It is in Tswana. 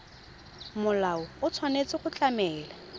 molao o tshwanetse go tlamela